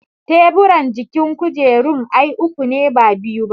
Teburan jikin kujerun ai uku ne ba biyu ba